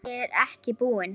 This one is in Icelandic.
Ég er ekki búinn.